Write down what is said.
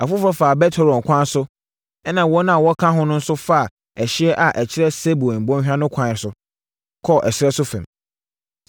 Afoforɔ faa Bet-Horon kwan so ɛnna wɔn a wɔka ho nso faa ɛhyeɛ a ɛkyerɛ Seboim bɔnhwa no kwan so, kɔɔ ɛserɛ so fam.